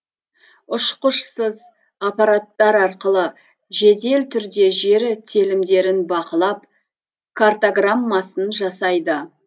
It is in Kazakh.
ұшқышсыз аппараттар арқылы жедел түрде жері телімдерін бақылап картаграммасын жасайды